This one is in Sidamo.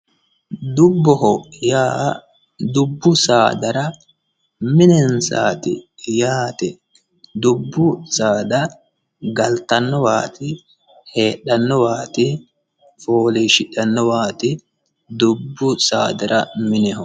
dubboho yaa dubbu saadara minensaati yaate dubbu saada galtannowat heedhannowaati fooliishidhannowaati dubbu saadara mineho